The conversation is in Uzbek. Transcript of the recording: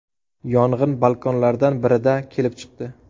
Yong‘in balkonlardan birida kelib chiqdi.